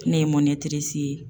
Ne ye ye.